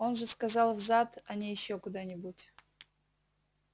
он же сказал в зад а не ещё куда-нибудь